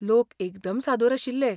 लोक एकदम सादूर आशिल्लें.